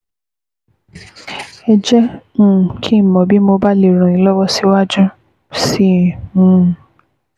Ẹ jẹ́ um kí n mọ̀ bí mo bá lè ràn yín lọ́wọ́ síwájú sí um i